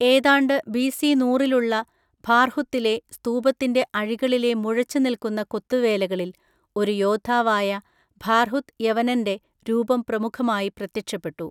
ഏതാണ്ട് ബിസി നൂറിലുള്ള ഭാർഹുത്തിലെ സ്തൂപത്തിന്‍റെ അഴികളിലെ മുഴച്ചുനിൽക്കുന്ന കൊത്തുവേലകളിൽ ഒരു യോദ്ധാവായ ഭാർഹുത് യവനൻ്റെ രൂപം പ്രമുഖമായി പ്രത്യക്ഷപ്പെട്ടു.